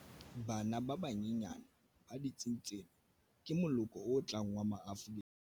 Bana ba banyenyane ba ditsing tsena ke moloko o tlang wa Maafrika